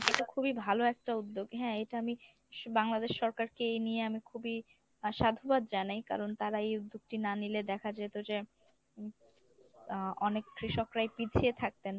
এটাতো খুবই ভালো একটা উদ্যোগ। হ্যাঁ এটা আমি বাংলাদেশ সরকারকে এই নিয়ে আমি খুবই আহ সাধুবাদ জানাই কারণ তারা এই উদ্যোগটি না নিলে দেখা যেত যে আহ অনেক কৃষকরাই পিছিয়ে থাকতেন।